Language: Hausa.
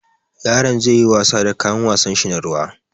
Yaron zai yi wasa da kayan wasanshi na ruwa.